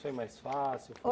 Foi mais fácil?